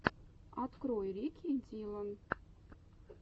открой рики диллон